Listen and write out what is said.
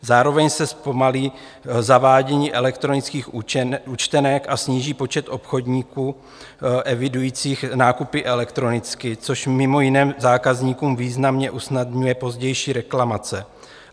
Zároveň se zpomalí zavádění elektronických účtenek a sníží počet obchodníků evidujících nákupy elektronicky, což mimo jiné zákazníkům významně usnadňuje pozdější reklamace.